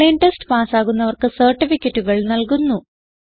online test പാസ്സാകുന്നവർക്ക് സർട്ടിഫികറ്റുകൾ നല്കുന്നു